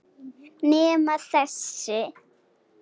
Nema þessi.